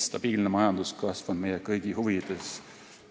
Stabiilne majanduskasv on meie kõigi huvides.